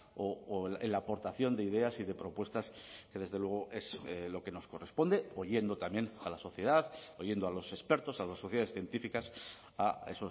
o en la aportación de ideas y de propuestas que desde luego es lo que nos corresponde oyendo también a la sociedad oyendo a los expertos a las sociedades científicas a